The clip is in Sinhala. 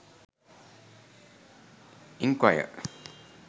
enquire